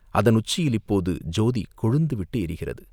அதன் உச்சியில் இப்போது ஜோதி கொழுந்துவிட்டு எரிகிறது.